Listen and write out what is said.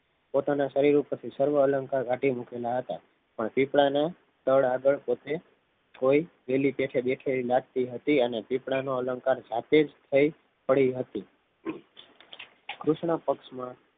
પોતાના શરીર ઉપરથી સર્વ અલંકાર કાઢી મુકેલા હતા પણ પીપળા ના તળ આગળ પોતે કોઈકે જોઈ બેઠે બેઠે પેલી એવી લાગતી હતી અને પીપળાનું અલંકાર જાતે જ કોઈ પડી હતી કૃષ્ણ પક્ષમાં